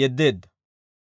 yeddeedda.